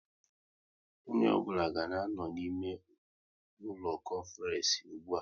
Onye ọ bụla ga anọ n' ime ụlọ konference ụgbụa!